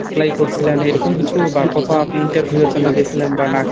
apply করছিলেন এরকম কিছু বা কোথায়ও আপনি interview এর জন্য গেছিলেন বা ডাকসে ?